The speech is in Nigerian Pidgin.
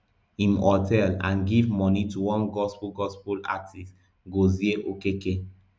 im hotel and give money to one gospel gospel artist gozie okeke